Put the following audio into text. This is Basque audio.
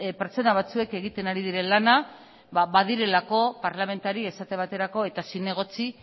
pertsona batzuek egiten ari diren lana badirelako parlamentari esate baterako eta zinegotzi